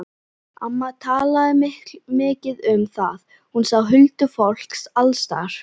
Amma talaði mikið um það, hún sá huldufólk alls staðar.